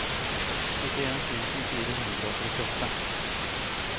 syttien tusen fire hundre og trettiåtte